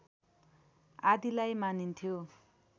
आदिलाई मानिन्थ्यो